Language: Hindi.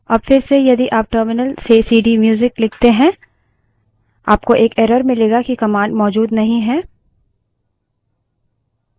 अब फिरसे यदि आप terminal से सीडीम्यूजिक लिखते हैं आपको एक error मिलेगा कि command मौजूद नहीं है